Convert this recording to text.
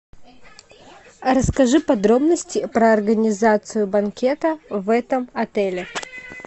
расскажи подробности про организацию банкета в этом отеле